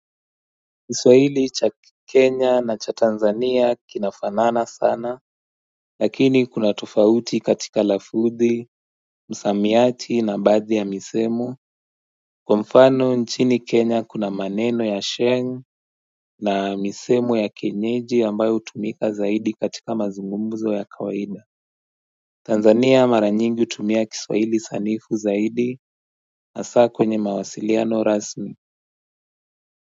Kiswahili cha Kenya na cha Tanzania kinafanana sana Lakini kuna tofauti katika lafuthi, msamiati na baadhi ya misemo Kwa mfano nchini Kenya kuna maneno ya sheng na misemo ya kienyeji ambayo utumika zaidi katika mazungumuzo ya kawaida Tanzania mara nyingi utumia kiswahili sanifu zaidi hasa kwenye mawasiliano rasmi.